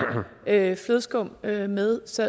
lave flødeskum med med så